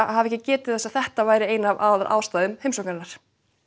hafa ekki getið þess að þetta væri ein af aðalástæðum heimsóknarinnar